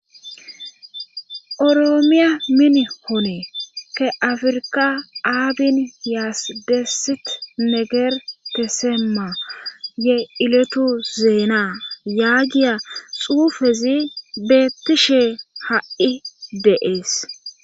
oroomiya min hoone ke afirka aabin yaas deessit meger teseema ye iletu zeena yaagiya xuufezi beettishe ha7i deees